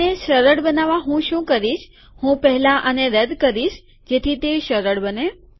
તેને સરળ બનાવવા હું શું કરીશ કે હું પહેલા આને રદ્દ કરીશ જેથી તે સરળ બને